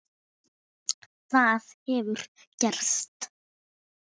Það hefur gerst.